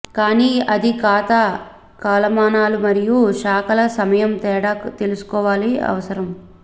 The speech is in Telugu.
కానీ అది ఖాతా కాలమానాలు మరియు శాఖల సమయం తేడా తీసుకోవాలని అవసరం